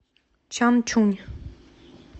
чанчунь